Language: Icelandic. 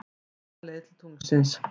Beina leið til tunglsins.